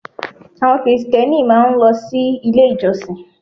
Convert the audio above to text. Àwọn Krìstẹ́nì máa ń lọ sí Ilé ìjọsìn